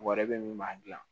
Wari bɛ min m'a gilan